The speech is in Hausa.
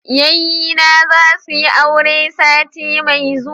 yayyena za su yi aure sati mai zuwa